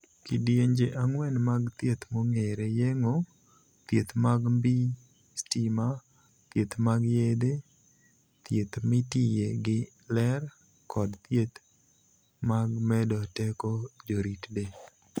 Kidienje ang'wen mag thieth mong'ere: yeng'o (bero), thieth mag mbii stima, thieth mag yedhe, thieth mitiye gi ler, kod thieth mag medo teko jorit del.